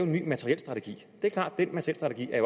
materielstrategi